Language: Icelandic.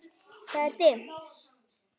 Það er dimmt.